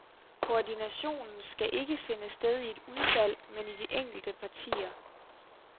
Koordinationen skal ikke finde sted i et udvalg, men i de enkelte partier.